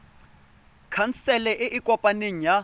khansele e e kopaneng ya